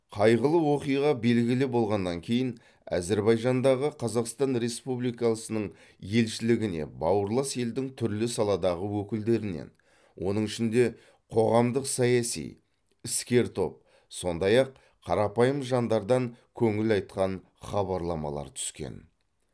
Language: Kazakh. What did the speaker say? қайғылы оқиға белгілі болғаннан кейін әзербайжандағы қазақстан республикасының елшілігіне бауырлас елдің түрлі саладағы өкілдерінен оның ішінде қоғамдық саяси іскер топ сондай ақ қарапайым жандардан көңіл айтқан хабарламалар түскен